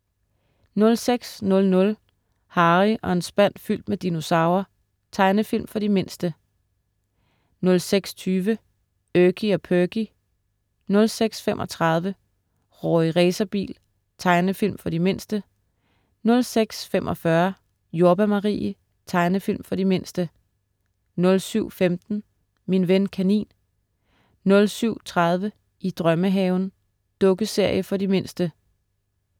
06.00 Harry og en spand fyldt med dinosaurer. Tegnefilm for de mindste 06.20 Erky og Perky 06.35 Rorri Racerbil. Tegnefilm for de mindste 06.45 Jordbær Marie. Tegnefilm for de mindste 07.15 Min ven kanin 07.30 I drømmehaven. Dukkeserie for de mindste